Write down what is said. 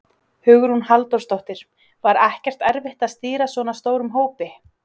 Hugrún Halldórsdóttir: Var ekkert erfitt að stýra svona stórum hópi?